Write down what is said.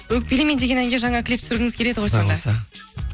өкпелеме деген әнге жаңа клип түсіргіңіз келеді